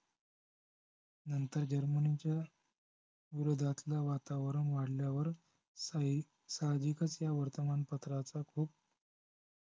नंतर जर्मनीच्या विरोधातलं वातवरण वाढल्यावर साही सहाजिकच ह्या वर्तमान पत्राचा खूप